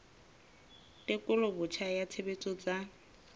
tekolo botjha ya tshebetso tsa